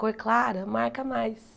Cor clara, marca mais.